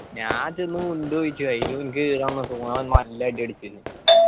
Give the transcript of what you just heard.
ഞാൻ ചെന്ന് മുണ്ട് ചോദിച്ചു അതില് എനിക്ക് എൻ്റെ അടുത്ത് ഓൻ നല്ല അടി അടിച്ചിന്